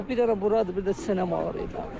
Yox, bir dənə buradır, bir də sinəm ağrıyır.